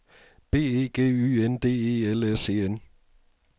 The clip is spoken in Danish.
B E G Y N D E L S E N